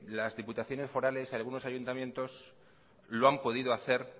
las diputaciones forales y algunos ayuntamientos lo han podido hacer